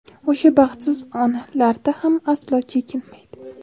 o‘sha baxtsiz onlarda ham aslo chekinmaydi.